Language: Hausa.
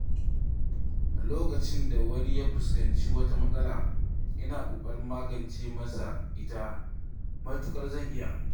Lokacin da wani ya fuskanci wata matsala, ina ƙoƙarin magance masa ita matuƙar zan iya.